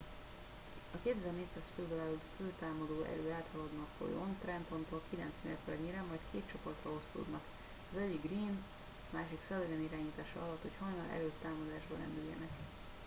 a 2400 főből álló fő támadó erő áthaladna a folyón trentontól kilenc mérföldnyire majd két csoportra osztódnak az egyik greene a másik sullivan irányítása alatt hogy hajnal előtt támadásba lendüljenek